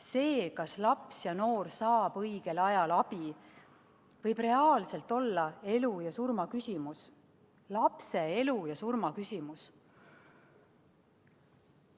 See, kas laps ja noor saab õigel ajal abi, võib reaalselt olla elu ja surma küsimus, lapse elu ja surma küsimus.